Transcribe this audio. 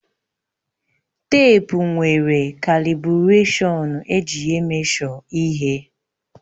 Teepu nwere kalibụrashọnụ eji emeshọ ihe